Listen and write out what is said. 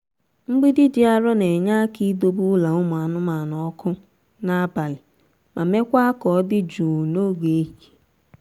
mgbidi dị arọ na-enye aka idebe ụlọ ụmụ anụmanụ ọkụ n'abalị ma mekwaa ka ọ dị jụụ n'oge ehihie.